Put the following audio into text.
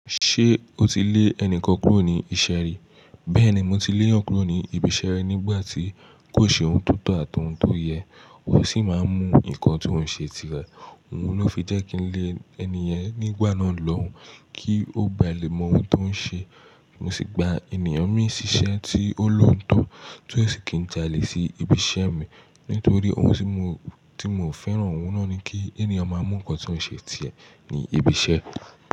Ṣé o ti lé ẹnìkan kúrò ní ìṣeré? Bẹ́ẹ̀ni, mo ti lé'yan kúrò ní ibi iṣẹ́ ri nígbà tí kò ṣe ohun tó tọ̀ àti ohun tó yẹ, ó sì máa ń mú nnkan tó ń ṣe tirẹ̀. Òhun ló fi jẹ́ kí n lé ẹni yẹn nígbà náà lọ́hùn kí ó bà lè mọ ohun tó ń ṣe. Mo sì gba ènìyàn mìí síṣẹ́ tí ó lóòótọ́ tí ó sì kì í jalè sí ibi iṣẹ́ mi nítorí ohun tí mo, tí mo ò fẹ́ràn. Òhun náà ni kí ènìyàn máa mú nnkan tó ń ṣe tiẹ̀ ní ibi iṣẹ́.